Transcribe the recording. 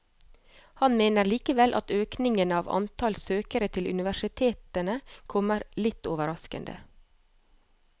Han mener likevel at økningen av antall søkere til universitetene kommer litt overraskede.